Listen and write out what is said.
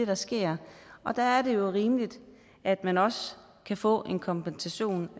der sker der er det jo rimeligt at man også kan få en kompensation